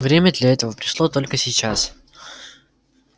время для этого пришло только сейчас